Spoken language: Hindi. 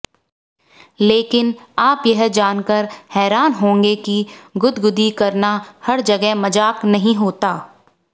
लेकिन आप यह जानकर हैरान होंगे की गुदगुदी करना हर जगह मजाक नहीं होता